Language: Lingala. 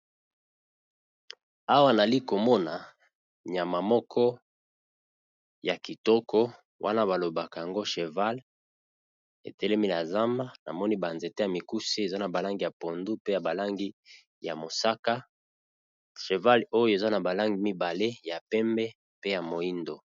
Awa yali komona nyama Moko ya Kitoko Wana balobaka ya go Eza cheval etelemi na nzamba namoni ba nzete yamokuse